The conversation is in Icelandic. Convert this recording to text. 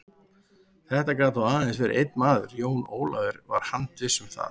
Þetta gat þó aðeins verið einn maður, Jón Ólafur var handviss um það.